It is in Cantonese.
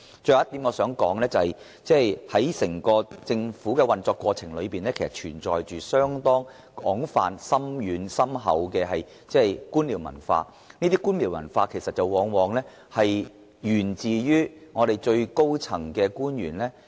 最後，我想指出政府的整個運作，其實存在廣泛而深厚的官僚文化，這種文化往往來自最高層的官員。